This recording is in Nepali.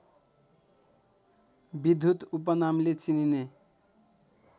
विद्युत उपनामले चिनिने